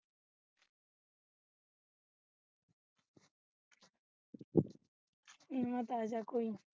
ਏਨਾਂ ਤੇ ਆਜਾ ਕੋਈ ਨਾ